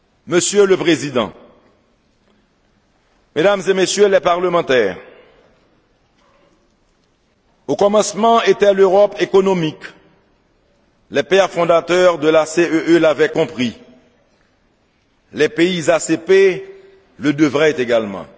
là! Monsieur le Président, Mesdames et Messieurs les Parlementaires, au commencement était l'Europe économique, les Pères Fondateurs de la CEE l'avaient compris, les pays ACP le devraient également.